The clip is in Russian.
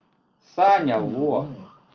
саня во